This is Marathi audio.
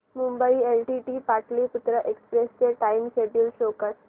मुंबई एलटीटी पाटलिपुत्र एक्सप्रेस चे टाइम शेड्यूल शो कर